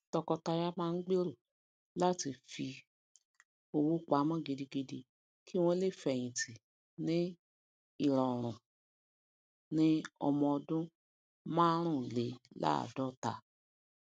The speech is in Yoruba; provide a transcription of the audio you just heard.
tọkọtaya má n gbero láti fi um owó pamó gidigidi ki wọn le feyinti ni irọrun um ni ọmọ ọdún márùúnlélaadọta